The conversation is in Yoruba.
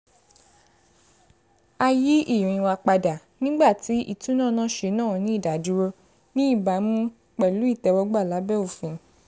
a yí ìrìn wa padà nígbà tí ìtúnọ̀nàṣe náà ní ìdádúró ní ìbámu pẹ̀lú ìtẹ́wọ́gbà lábẹ́ òfin